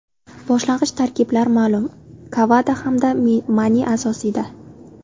Boshlang‘ich tarkiblar ma’lum. Kagava hamda Mane asosiyda.